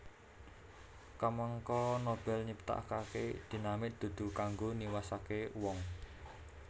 Kamangka Nobel nyiptakake dinamit dudu kanggo niwasake wong